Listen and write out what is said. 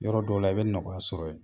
Yɔrɔ dɔw la, i bɛ nɔgɔya sɔrɔ yen